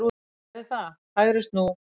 Ég gerði það, hægri snú.